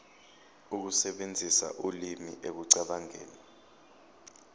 ukusebenzisa ulimi ekucabangeni